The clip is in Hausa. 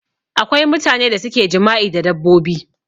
Akwai mutane da suke jima'i da dabbobi